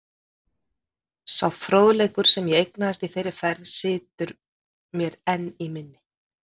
Sá fróðleikur, sem ég eignaðist í þeirri ferð, situr mér enn í minni.